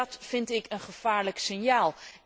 En dat vind ik een gevaarlijk signaal.